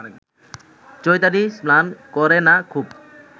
চৈতালি স্নান করে না খুব